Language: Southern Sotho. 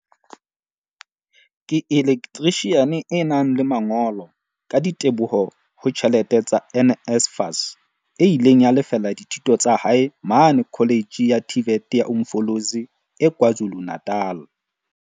Ke elektrishiane e nang le mangolo, ka diteboho ho tjhelete tsa NSFAS, e ileng ya lefella dithuto tsa hae mane Kholetjhe ya TVET ya Umfolozi e KwaZulu-Natal.